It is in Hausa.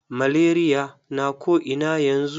Malaria na ko ina yanzu.